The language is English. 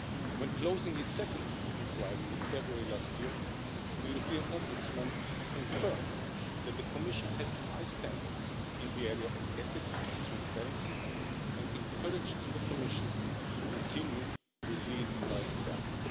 When closing its second inquiry in February last year, the European Ombudsman confirmed that the Commission has high standards in the area of ethics and transparency and encouraged the Commission to continue to lead by example.